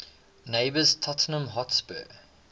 neighbours tottenham hotspur